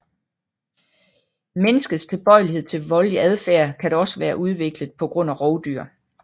Menneskets tilbøjelighed til voldelig adfærd kan dog også være udviklet pga rovdyr